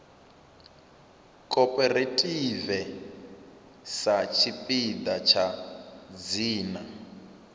cooperative sa tshipiḓa tsha dzina